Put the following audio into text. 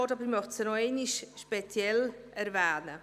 Ich möchte sie aber noch einmal speziell erwähnen.